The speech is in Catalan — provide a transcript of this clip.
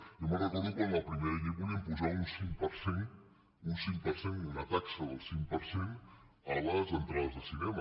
jo me’n recordo quan en la primera llei volien posar un cinc per cent un cinc per cent una taxa del cinc per cent a les entrades de cinema